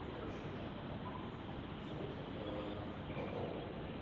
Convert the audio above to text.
ну короче вот так вот ээ потом